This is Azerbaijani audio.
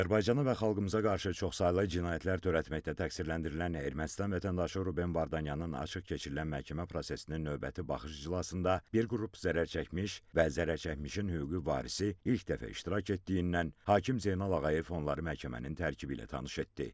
Azərbaycanı və xalqımıza qarşı çoxsaylı cinayətlər törətməkdə təqsirləndirilən Ermənistan vətəndaşı Ruben Vardanyanın açıq keçirilən məhkəmə prosesinin növbəti baxış iclasında bir qrup zərərçəkmiş və zərərçəkmişin hüquqi varisi ilk dəfə iştirak etdiyindən hakim Zeynal Ağayev onları məhkəmənin tərkibi ilə tanış etdi.